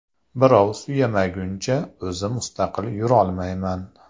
Birov suyamaguncha o‘zim mustaqil yurolmayman.